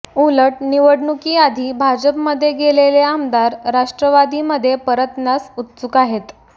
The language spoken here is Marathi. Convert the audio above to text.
उलट निवडणुकीआधी भाजपमध्ये गेलेले आमदार राष्ट्रवादीमध्ये परतण्यास उत्सुक आहेत